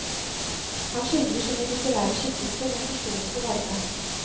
Han skildrer sine litterære skikkelser med forståelse og varme.